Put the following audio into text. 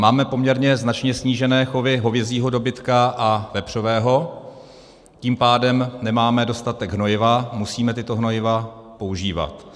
Máme poměrně značně snížené chovy hovězího dobytka a vepřového, tím pádem nemáme dostatek hnojiva, musíme tato hnojiva používat.